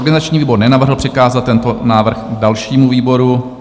Organizační výbor nenavrhl přikázat tento návrh dalšímu výboru.